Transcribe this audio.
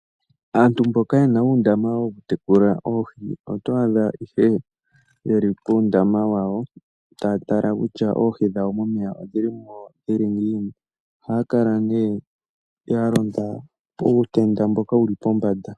Aantu mboka yena uundama wokutekula oohi, oto adha ihe yeli puundama wawo, taya tala kutya oohi dhawo momeya odhili mo dhili ngiini. Ohaya kala ne yalonda puutenda mboka wuli pombanda.